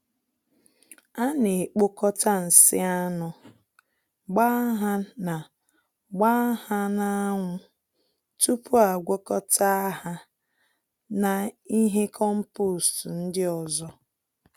Ana ekpokọta nsị anụ, gbaa ha na gbaa ha na anwụ tupu agwakọta ha na ihe kompost ndị ọzọ